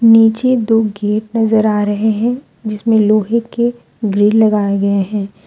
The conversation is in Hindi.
नीचे दो गेट नजर आ रहे हैं जिसमें लोहे के ग्रिल लगाए गए हैं।